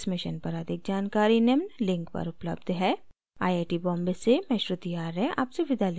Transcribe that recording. इस mission पर अधिक जानकारी निम्न लिंक पर उपलब्ध है